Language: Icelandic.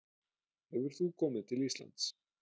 Hefur þú komið til Íslands?